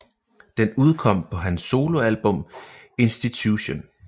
Den udkom på hans soloalbum Institution